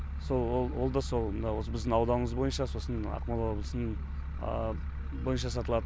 сол ол да сол мына осы біздің ауданымыз бойынша сосын ақмола облысының бойынша сатылады